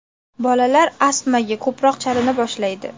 Bolalar astmaga ko‘proq chalina boshlaydi.